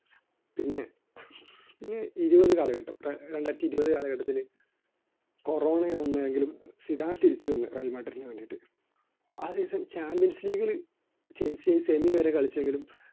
പിന്നെ ഈ ഇരുപത് കാലഘട്ടം രണ്ടായിരത്തി ഇരുപത് കാലഘട്ടത്തില് Corona വന്നെങ്കിലും സ്വീഡൻ തിരിച്ചുവന്നു. റയൽമാഡ്രിഡിന് വേണ്ടിയിട്ട് ആ season ചാമ്പ്യൻസ് ലീഗിൽ ചെൽസിയെ semi വരെ കളിച്ചെങ്കിലും